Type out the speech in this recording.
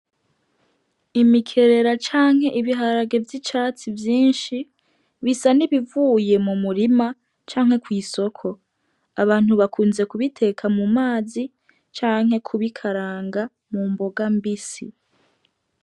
Imikerera canke ibiharage vy'icatsi vyinshi bisa nibivuye mu murima canke kw'isoko abantu bakunze kubiteka mu mazi canke kubikaranga mu mboga mbisi.